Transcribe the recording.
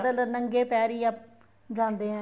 ਪੈਦਲ ਨੰਗੇ ਪੈਰੀ ਜਾਂਦੇ ਏ